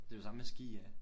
Det er jo det samme med ski af